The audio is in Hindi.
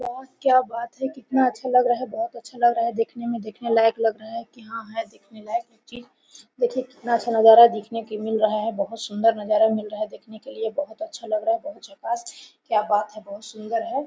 वाह क्या बात है कितना अच्छा लग रहा है बहुत अच्छा लग रहा है देखने में देखने लायक लग रहा है की हां है देखने लायक कुछ चीज़ देखिए कितना अच्छा नजारा देखने के लिए मिल रहा है बहुत सुंदर नजारा मिल रहा है देखने के लिए बहुत अच्छा लग रहा है बहुत झक्कास क्या बात है बहुत सुंदर है।